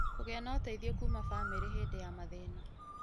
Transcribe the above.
Kũgĩa na ũteithio kuuma kũrĩ bamĩrĩ hĩndĩ ya mathĩna